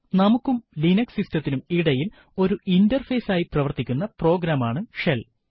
നമുക്കും Linux system ത്തിനും ഇടയിൽ ഒരു ഇന്റർഫേസ് ആയി പ്രവർത്തിക്കുന്ന പ്രോഗ്രാം ആണ് ഷെൽ